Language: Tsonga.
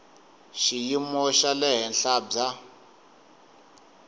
xiyimo xa le henhla bya